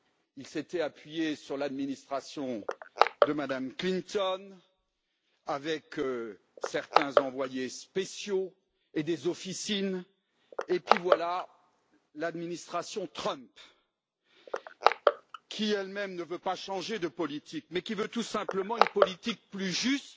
Il s'était appuyé sur l'administration de Mme Clinton avec certains envoyés spéciaux et des officines, et puis voilà l'administration Trump, qui ne veut pas changer de politique, mais qui veut tout simplement une politique plus juste